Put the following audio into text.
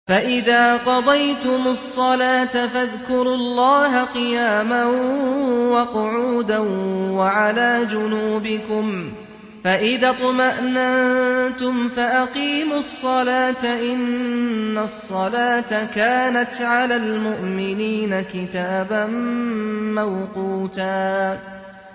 فَإِذَا قَضَيْتُمُ الصَّلَاةَ فَاذْكُرُوا اللَّهَ قِيَامًا وَقُعُودًا وَعَلَىٰ جُنُوبِكُمْ ۚ فَإِذَا اطْمَأْنَنتُمْ فَأَقِيمُوا الصَّلَاةَ ۚ إِنَّ الصَّلَاةَ كَانَتْ عَلَى الْمُؤْمِنِينَ كِتَابًا مَّوْقُوتًا